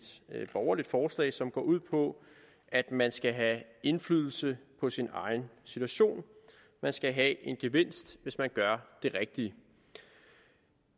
borgerligt forslag som går ud på at man skal have indflydelse på sin egen situation og man skal have en gevinst hvis man gør det rigtige vi